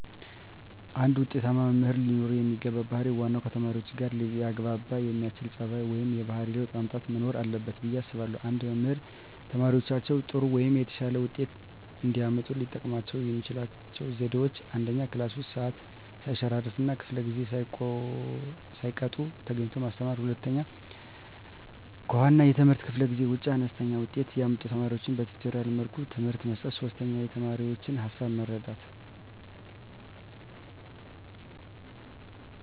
አንድ ውጤታማ መምህር ለኖረው የሚገባው ባህር ዋናው ከተማሪዎቹጋ ሊያግባባ የሚያስችል ፀባዩ ወይም የባህሪ ለውጥ ማምጣት መኖር አለበት ብየ አስባለሁ። አንድ መምህር ተማሪዎቻቸው ጥሩ ወይም የተሻለ ውጤት እንዲያመጡ ሊጠቀሙባቸው የሚችሏቸው ዘዴዎች፦ 1, ክላስ ውስጥ ሰዓት ሰይሸራርፍ እና ከፈለ ጊዜአቸውን ሳይቀጡ ተገኝተው ማስተማር። 2, ከዋና የትምህርት ክፍለ ጊዜ ውጭ አነስተኛ ውጤት ያመጡ ተማሪዎቻቸውን በቲቶሪያል መልኩ ትምህርት መስጠት። 3, የተማሪዎቻቸውን ሀሳብ መረዳት